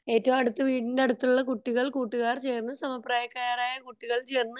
ഏറ്റവും അടുത്ത വീടിന്റെ അടുത്ത കുട്ടികൾ കൂട്ടുകാർ ചേർന്ന് സമപ്രായക്കാരായ കുട്ടികൾ ചേർന്ന്